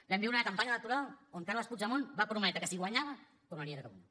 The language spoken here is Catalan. vam viure una campanya electoral on carles puigdemont va prometre que si guanyava tornaria a catalunya